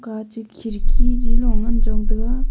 ache khirki gi lo ngan chon tega.